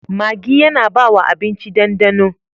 Maggi yAna bawa abinci dan dano